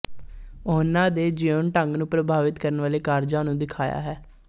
ਉਹਨਾ ਦੇ ਜਿਉਣ ਢੰਗ ਨੂੰ ਪ੍ਰਭਾਵਿਤ ਕਰਨ ਵਾਲੇ ਕਾਰਜਾਂ ਨੂੰ ਦਿਖਾਇਆ ਹੈ